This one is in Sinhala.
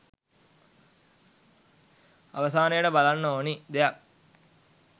අවසානයට බලන්න ඕනි දෙයක්.